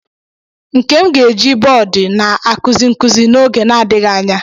Nkem ga-eji bọọdụ na-akuzi nkuzi n'oge na-adịghị anya.